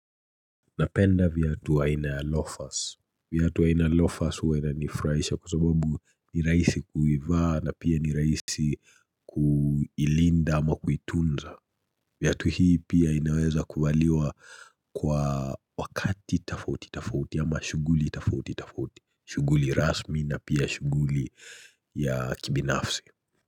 Napenda viatu aina ya loafers, viatu aina ya loafers huwa inanifurahisha kwa sababu ni rahisi kuivaa na pia ni rahisi kuilinda ama kuitunza viatu hii pia inaweza kuvaliwa kwa wakati tofauti tofauti ama shughuli tofauti tofauti, shughuli rasmi na pia shughuli ya kibinafsi.